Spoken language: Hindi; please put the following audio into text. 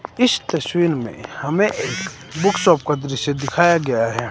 इस तस्वीर में हमें एक बुक शॉप दृश्य दिखाया गया है।